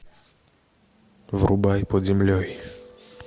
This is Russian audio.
врубай под землей